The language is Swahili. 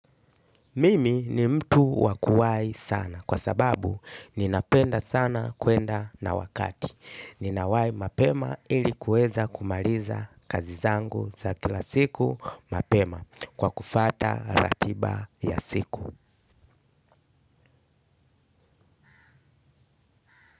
Mimi ni mtu wakuwahi sana kwa sababu ninapenda sana kwenda na wakati. Ninawahi mapema ilikuweza kumaliza kazi zangu za kila siku mapema kwa kufuata ratiba ya siku.